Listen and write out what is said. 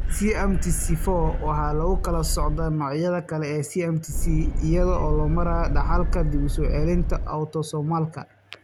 CMT4 waxaa lagu kala soocaa noocyada kale ee CMT iyada oo loo marayo dhaxalka dib u soo celinta autosomalka.